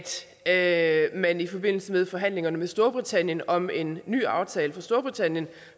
at man i forbindelse med forhandlingerne med storbritannien om en ny aftale for storbritannien